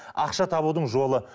ақша табудың жолы